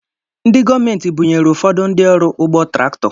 Ndị gọọmenti bunyere ụfọdụ ndị ọrụ ugbo traktọ